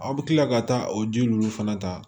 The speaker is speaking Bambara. Aw bɛ tila ka taa o ji ninnu fana ta